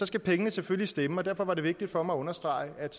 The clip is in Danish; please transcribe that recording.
skal pengene selvfølgelig stemme og derfor er det vigtigt for mig at understrege at